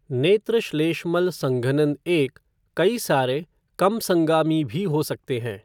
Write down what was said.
नेत्रश्लेष्मल संघनन एक, कई सारे, कम संगामी भी हो सकते हैं।